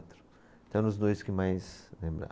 Então eram os dois que mais lembravam.